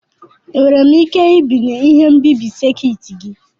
Enwere m ike ibinye ihe nbibi sekit gị?